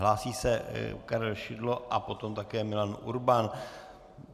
Hlásí se Karel Šidlo a potom také Milan Urban.